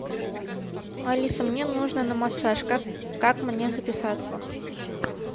алиса мне нужно на массаж как мне записаться